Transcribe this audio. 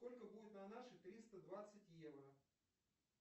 сколько будет на наши триста двадцать евро